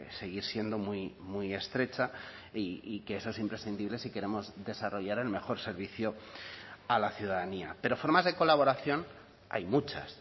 seguir siendo muy muy estrecha y que eso es imprescindibles si queremos desarrollar el mejor servicio a la ciudadanía pero formas de colaboración hay muchas